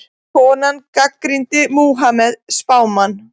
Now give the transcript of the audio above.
Konan gagnrýndi Múhameð spámann